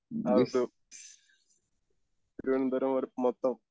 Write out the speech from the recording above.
ആ ഒരു മൊത്തം